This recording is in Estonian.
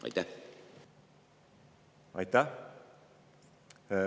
Aitäh!